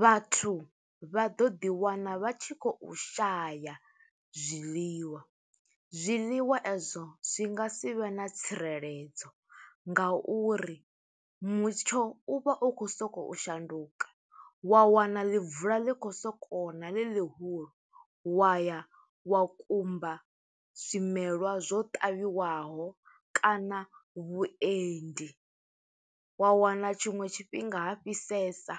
Vhathu vha ḓo ḓi wana vha tshi khou shaya zwiḽiwa. Zwiḽiwa e zwo zwi nga si vhe na tsireledzo, nga uri mutsho u vha u khou sokou shanduka, wa wana ḽi bvula ḽi khou soko ṋa, ḽi ḽihulu wa ya wa kumba zwimelwa zwo ṱavhiwaho kana vhuendi. Wa wana tshiṅwe tshifhinga ha fhisesa,